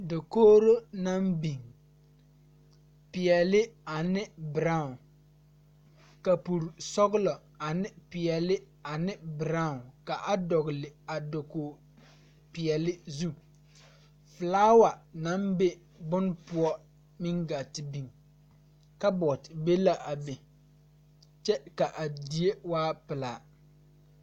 Dokogro naŋ biŋ peɛɛle ane braawn kapure sɔglɔ ane peɛɛle ane braawn ka a dɔgle a dokog peɛɛle zu flaawa naŋ be bon poɔ meŋ gaa te biŋ kabɔɔte be la a be kyɛ ka a die waa pilaa.